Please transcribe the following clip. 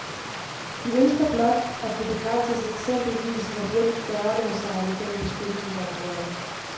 Vi ønsker blot, at det begrænses eksempelvis hvor hurtigt færgerne må sejle gennem beskyttelsesområderne.